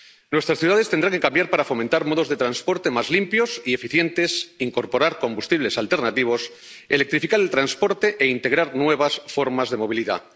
Nuestras ciudades tendrán que cambiar para fomentar modos de transporte más limpios y eficientes, incorporar combustibles alternativos, electrificar el transporte e integrar nuevas formas de movilidad.